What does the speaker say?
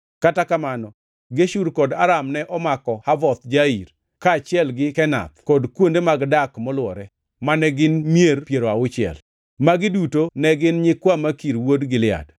(Kata kamono, Geshur kod Aram ne omako Havoth Jair, kaachiel gi Kenath kod kuonde mag dak molwore, mane gin mier piero auchiel). Magi duto ne gin nyikwa Makir wuon Gilead.